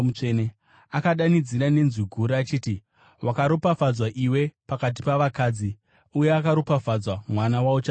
Akadanidzira nenzwi guru achiti, “Wakaropafadzwa iwe pakati pavakadzi, uye akaropafadzwa mwana wauchazvara!